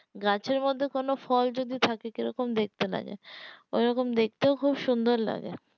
গাছের মধ্যে কোনো ফল যদি থাকে কিরকম দেখতে লাগে ওরকম দেখতে খুব সুন্দর লাগে